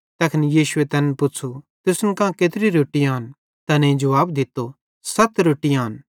तैखन यीशुए तैन पुच़्छ़ू तुसन कां केत्री रोट्टी आन तैनेईं जुवाब दित्तो सत रोट्टी आन